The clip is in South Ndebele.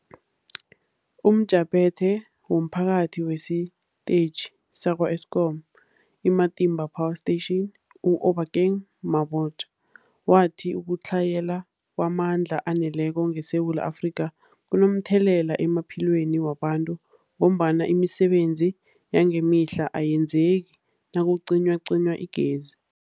UmJaphethe womPhathi wesiTetjhi sakwa-Eskom i-Matimba Power Station u-Obakeng Mabotja wathi ukutlhayela kwamandla aneleko ngeSewula Afrika kunomthelela emaphilweni wabantu ngombana imisebenzi yangemihla ayenzeki nakucinywacinywa igezi.